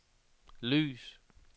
lys